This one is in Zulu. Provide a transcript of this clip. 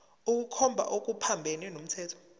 ukukhomba okuphambene nomthetho